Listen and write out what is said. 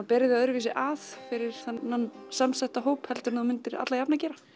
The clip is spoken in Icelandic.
berir þig öðruvísi að fyrir þennan samsetta hóp heldur en þú myndir alla jafna gera